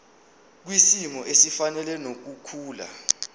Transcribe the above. kwisimo esifanele nokukhula